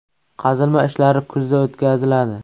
Qazilma ishlari kuzda o‘tkaziladi.